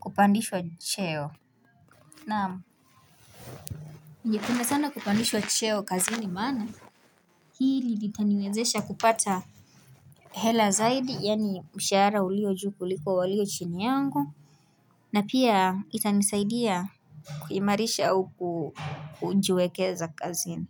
kupandishwa cheo Naam ningependa sana kupandishwa cheo kazini maana hili litaniwezesha kupata hela zaidi yaani mshahara ulio juu kuliko walio chini yangu na pia itanisaidia kuimarisha au kujiwekeza kazini.